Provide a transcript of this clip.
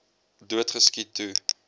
dood geskiet toe